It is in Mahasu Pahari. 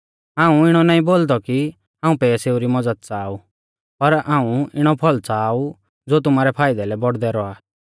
हाऊं इणौ नाईं बोलदौ कि हाऊं पैसैऊ री मज़द च़ाहा ऊ पर हाऊं इणौ फल़ च़ाहा ऊ ज़ो तुमारै फाइदै लै बौड़दै रौआ